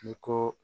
I ko